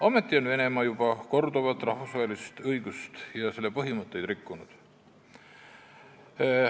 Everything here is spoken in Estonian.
Ometi on Venemaa juba korduvalt rahvusvahelist õigust ja selle põhimõtteid rikkunud.